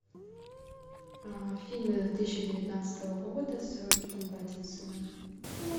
фильмы две тысячи девятнадцатого года с робертом паттинсоном